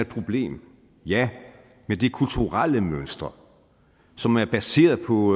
problem ja men det er kulturelle mønstre som er baseret på